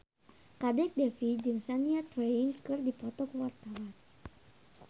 Kadek Devi jeung Shania Twain keur dipoto ku wartawan